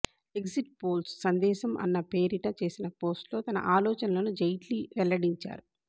exit polls సందేశం అన్న పేరిట చేసిన పోస్ట్లో తన ఆలోచనలను జైట్లీ వెల్లడించారు